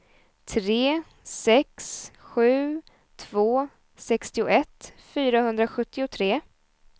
tre sex sju två sextioett fyrahundrasjuttiotre